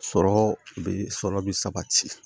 Sɔrɔ bɛ sɔrɔ bi sabati